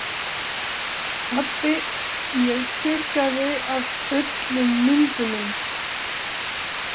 Pabbi ég þurrkaði af öllum myndunum.